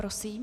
Prosím.